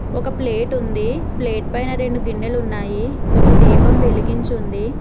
ఒక ప్లేట్ ఉంది ప్లేట్ పైన రెండు గిన్నెలు ఉన్నాయి ఒక దీపం వెలిగించి ఉంది.